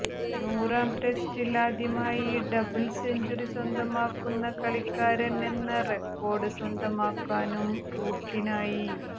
നൂറാം ടെസ്റ്റിൽ ആദ്യമായി ഡബിൾ സെഞ്ചുറി സ്വന്തമാക്കുന്ന കളിക്കാരൻ എന്ന റെക്കോർഡ് സ്വന്തമാക്കാനും റൂട്ടിനായി